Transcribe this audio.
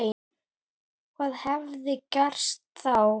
Hvað hefði gerst þá?